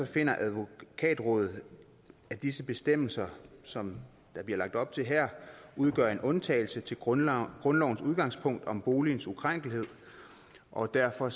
finder advokatrådet at disse bestemmelser som der bliver lagt op til her udgør en undtagelse til grundlovens grundlovens udgangspunkt om boligens ukrænkelighed og derfor